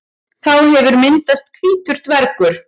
Þá hefur myndast hvítur dvergur.